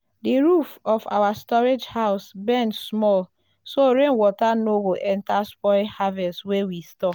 the roof for our storage house bend small so rain water no go enter spoil harvest wey we store.